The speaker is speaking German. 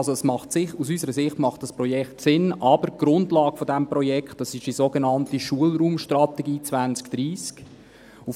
Also, das Projekt macht aus unserer Sicht Sinn, aber die Grundlage dieses Projekts ist die sogenannte Schulraumstrategie 2030.